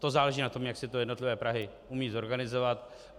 To záleží na tom, jak si to jednotlivé Prahy umí zorganizovat.